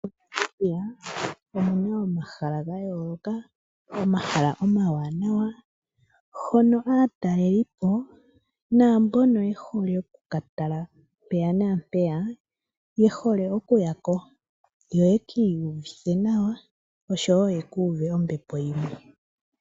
Mo Namibia omuna omahala ga yooloka, omahala omawanawa hono aatalelipo naambono yehole oku katala mpeya naampeya yehole okuyako yo yeki iyuthe nawa oshowo yeku uve ombepo yimwe